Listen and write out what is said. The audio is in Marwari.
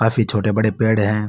काफी छोटे बड़े पेड़ है।